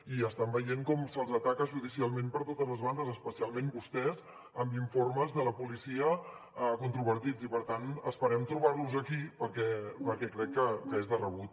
i estan veient com se’ls ataca judicialment per totes les bandes especialment a vostès amb informes de la policia controvertits i per tant esperem trobar los aquí perquè crec que és de rebut